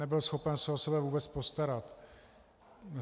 Nebyl schopen se o sebe vůbec postarat.